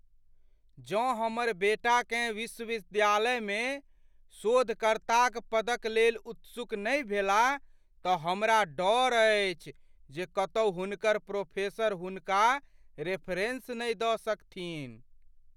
जँ हमर बेटाकेँ विश्वविद्यालयमे शोधकर्ताक पद क लेल उत्सुक नहि भेलाह त हमरा डर अछि जे कतौ हुनकर प्रोफेसर हुनका रेफेरेंस नहि द सकथिन्ह ।